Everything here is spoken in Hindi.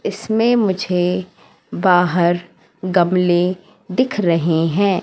इसमें मुझे बाहर गमले दिख रहे हैं।